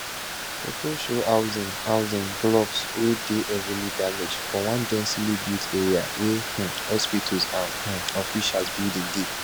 foto show housing housing blocks wey dey heavily damaged for one densely built area wia um hospitals and um official buildings dey